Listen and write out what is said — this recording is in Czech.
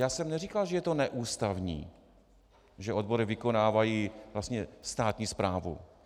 Já jsem neříkal, že je to neústavní, že odbory vykonávají vlastně státní správu.